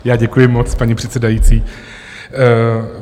Já děkuji moc, paní předsedající.